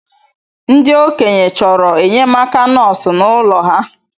Ndi ̣okenye choro enyemaka nosu n’ụlọ ha